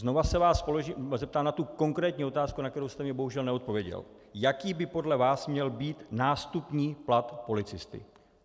Znovu se vás zeptám na tu konkrétní otázku, na kterou jste mi bohužel neodpověděl, jaký by podle vás měl být nástupní plat policisty.